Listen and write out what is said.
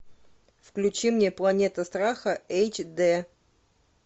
включи мне планета страха эйч д